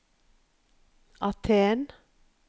Aten